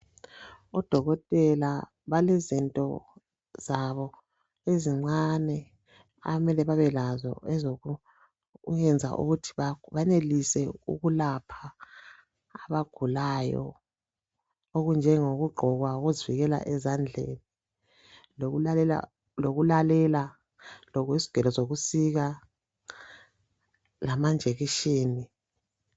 Odokotela balezinto zabo ezincane abamele babelazo ezokuyenza ukuthi banelise ukulapha abagulayo, okunjengo kugqoka uzivikela ezandleni lokulalela lezigelo zokusika, lamajekiseni.